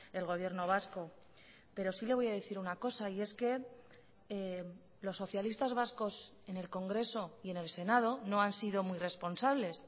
el gobierno vasco pero sí le voy a decir una cosa y es que los socialistas vascos en el congreso y en el senado no han sido muy responsables